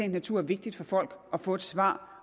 natur er vigtigt for folk at få svar